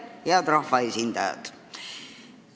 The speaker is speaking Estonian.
Head rahvaesindajad!